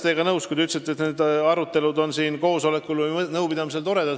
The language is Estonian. Ma olen nõus teie ütlusega, et sellised arutelud on siin koosolekul või nõupidamisel toredad.